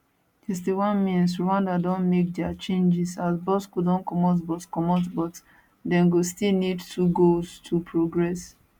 61mins rwanda don make dia changes as bosco don comot but comot but dem go still need 2 goals to progress